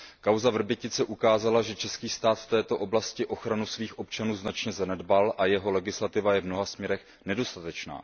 Kauza Vrbětice ukázala, že český stát v této oblasti ochranu svých občanů značně zanedbal a jeho legislativa je v mnoha směrech nedostatečná.